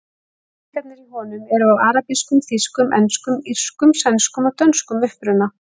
Peningarnir í honum eru af arabískum, þýskum, enskum, írskum, sænskum og dönskum uppruna.